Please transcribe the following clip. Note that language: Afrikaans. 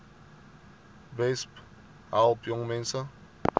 besp help jongmense